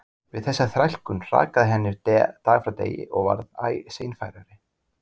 Við þessa þrælkun hrakaði henni dag frá degi og varð æ seinfærari.